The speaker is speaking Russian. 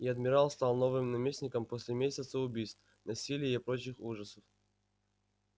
и адмирал стал новым наместником после месяца убийств насилия и прочих ужасов